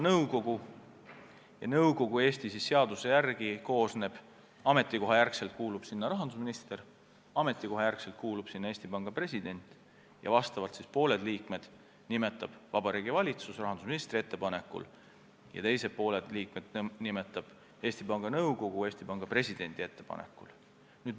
Nõukogusse kuuluvad Eestis seaduse kohaselt ametikoha järgi rahandusminister ja Eesti Panga president, pooled liikmed nimetab Vabariigi Valitsus rahandusministri ettepanekul ja pooled Eesti Panga Nõukogu Eesti Panga presidendi ettepanekul.